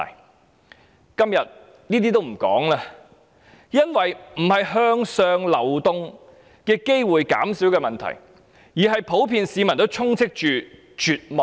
我今天也不談這些，因為現時並非向上流動機會減少的問題，而是普遍市民充斥着絕望。